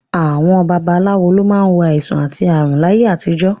Àwọn babaláwo ló máa ń wo àìsàn àti ààrùn láyé àtijọ́